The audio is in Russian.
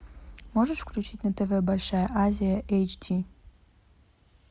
можешь включить на тв большая азия эйч ди